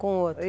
Com o outro?